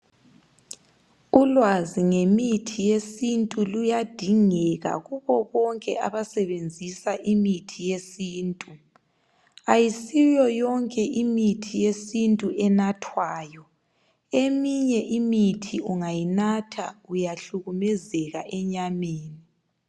Ulwazi ngemithi yesintu luyadingeka Kubo bonke abasebenzisa imithi yesintu ayisiyo yonke imithi yesintu enathwayo eminye imithi ungayinatha uyahlukumezeka enyameni.